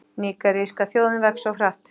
Nígeríska þjóðin vex of hratt